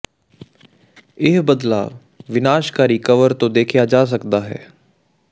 ਇਹ ਬਦਲਾਅ ਵਿਨਾਸ਼ਕਾਰੀ ਕਰਵ ਤੋਂ ਦੇਖਿਆ ਜਾ ਸਕਦਾ ਹੈ